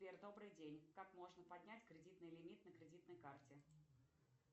сбер добрый день как можно поднять кредитный лимит на кредитной карте